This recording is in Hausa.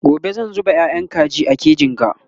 gobe zan zuba yayan kaji a kejin ga